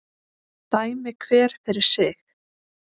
Dæmi hver fyrir sig